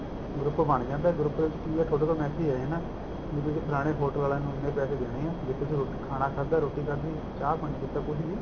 group ਬਣ ਜਾਂਦਾ group ਵਿੱਚ ਕਿ ਐ ਥੋਡੇ ਕੋਲ message ਆ ਜਾਣਾ ਵੀ ਤੁਸੀਂ ਫਲਾਣੇ hotel ਆਲਿਆ ਨੂੰ ਇੰਨੇ ਪੈਸੇ ਦੇਣੇ ਐ ਜਿੱਥੇ ਤੁਸੀਂ ਖਾਣਾ ਖਾਦਾ ਰੋਟੀ ਖਾਦੀ ਚਾਹ ਪਾਣੀ ਪਿਤਾ ਕੁੱਛ ਵੀ